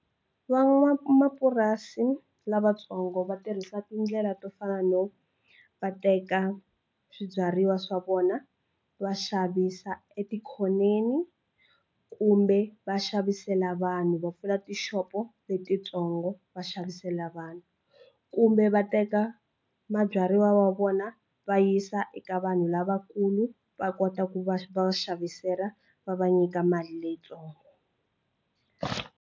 Van'wamapurasi lavatsongo va tirhisa tindlela to fana no va teka swibyariwa swa vona va xavisa etikhoneni kumbe va xavisela vanhu va pfula tixopo letitsongo va xavisela vanhu kumbe va teka mabyariwa ya vona va yisa eka vanhu lavakulu va kota ku va va xavisela va va nyika mali leyitsongo.